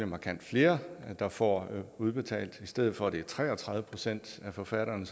markant flere der får udbetalt i stedet for at det er tre og tredive procent af forfatterne